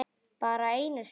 Bara einu sinni?